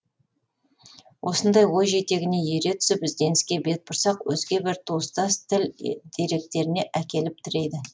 осындай ой жетегіне ере түсіп ізденіске бет бұрсақ өзге бір туыстас тіл деректеріне әкеліп тірейді